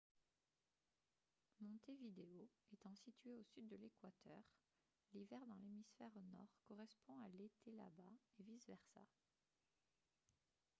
montevideo étant située au sud de l'équateur l'hiver dans l'hémisphère nord correspond à l'été là-bas et vice-versa